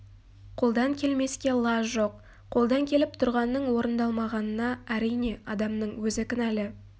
қолдан келмеске лаж жоқ қолдан келіп тұрғанның орыңдалмағанына әрине адамның өзі кінәлі